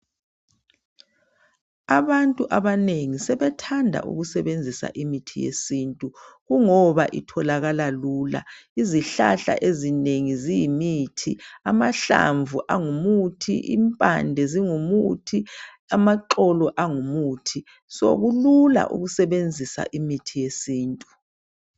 Abantu abanengi sebethanda ukusebenzisa imithi yesintu kungoba itholakala Lula izihlahla ezinengi eziyimithi amahlamvu angumuthi impande zingumuthi amaxolo angumuthi sokulula ukusebenzisa imithi yesintu